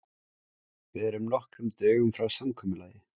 Við erum nokkrum dögum frá samkomulagi.